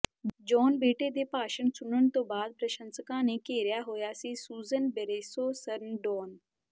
John ਬੇਟੇ ਦੇ ਭਾਸ਼ਣ ਸੁਣਨ ਤੋਂ ਬਾਅਦ ਪ੍ਰਸ਼ੰਸਕਾਂ ਨੇ ਘੇਰਿਆ ਹੋਇਆ ਸੀ ਸੂਜ਼ਨ ਬਰੇਸੋ ਸਰਨਡੋਨ